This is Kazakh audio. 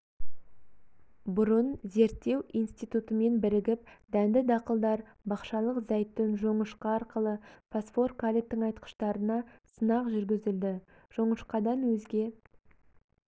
бұрын зерттеу институтымен бірігіп дәнді-дақылдар бақшалық зәйтүн жоңышқа арқылы фосфор-калий тыңайтқыштарына сынақ жүргізілді жоңышқадан өзге